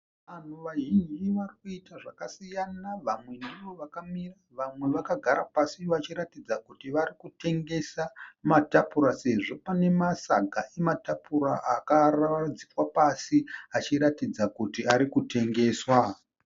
Vanhu vazhinji vari kuita zvakasiyana. Vamwe ndovakamira. Vamwe vakagara pasi vachiratidza kuti vari kutengesa matapura sezvo pane masaga ematapura akaradzikwa pasi achiratidza kuti ari kutengeswa.